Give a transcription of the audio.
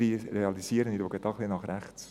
» Ich schaue dabei im Saal nach rechts.